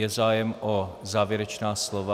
Je zájem o závěrečná slova?